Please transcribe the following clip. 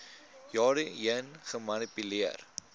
jare heen gemanipuleer